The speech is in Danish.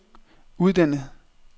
uddannet